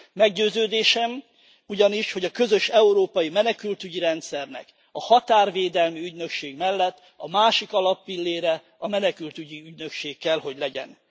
Meggyőződésem ugyanis, hogy a közös európai menekültügyi rendszernek, a határvédelmi ügynökség mellett a másik alappillére a menekültügyi ügynökség kell, hogy legyen.